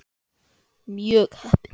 Mjög heppin.